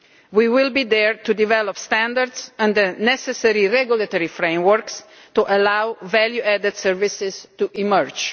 We will be there to develop standards and the necessary regulatory frameworks to allow value-added services to emerge.